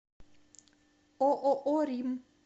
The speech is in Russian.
ооо рим